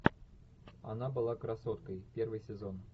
она была красоткой первый сезон